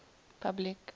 public